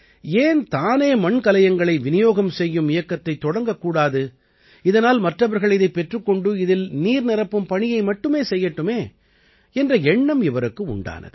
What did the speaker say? ஏன் தானே மண்கலயங்களை விநியோகம் செய்யும் இயக்கத்தைத் தொடங்கக் கூடாது இதனால் மற்றவர்கள் இதைப் பெற்றுக் கொண்டு இதில் நீர் நிரப்பும் பணியை மட்டுமே செய்யட்டுமே என்ற எண்ணம் இவருக்கு உண்டானது